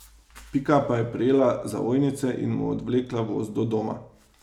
Pika pa je prijela za ojnice in mu odvlekla voz do doma.